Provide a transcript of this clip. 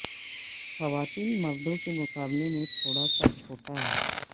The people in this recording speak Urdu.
خواتین مردوں کے مقابلے میں تھوڑا سا چھوٹا ہے